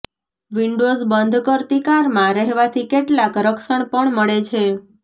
windows બંધ કરતી કારમાં રહેવાથી કેટલાક રક્ષણ પણ મળે છે